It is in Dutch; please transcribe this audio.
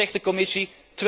En wat zegt de Commissie?